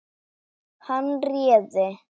Hann réði.